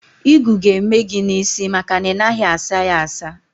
Ịgụ ga-eme gị n'isi maka na ị naghị asa ya asa.